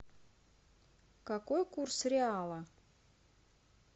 какой курс реала